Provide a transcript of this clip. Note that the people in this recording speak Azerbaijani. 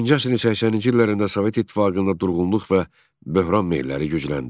20-ci əsrin 80-ci illərində Sovet İttifaqında durğunluq və böhran meyilləri gücləndi.